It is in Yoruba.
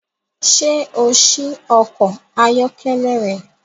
Ṣé o ṣí ọkọ̀ ayọ́kẹ́lẹ́ rẹ?